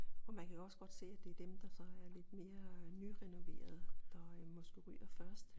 Og man kan jo også godt se at det er dem der så er lidt mere øh nyrenoverede der måske ryger først